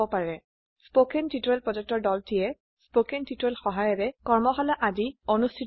কথন শিক্ষণ প্ৰকল্পৰ দলটিয়ে কথন শিক্ষণ সহায়িকাৰে কৰ্মশালা আদি অনুষ্ঠিত কৰে